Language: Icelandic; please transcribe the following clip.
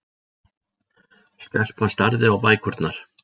Stelpan starði á bækurnar.